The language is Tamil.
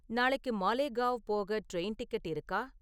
நாளைக்கு மாலேகாவ் போக ட்ரெயின் டிக்கெட் இருக்கா?